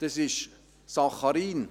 Das ist Saccharin.